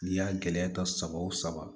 N'i y'a gɛlɛya ta saba o saba